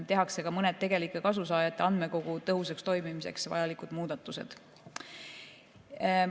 Tehakse ka mõned tegelike kasusaajate andmekogu tõhusaks toimimiseks vajalikud muudatused.